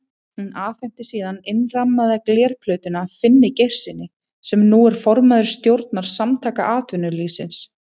Hún afhenti síðan innrammaða glerplötuna Finni Geirssyni, sem nú er formaður stjórnar Samtaka atvinnulífsins.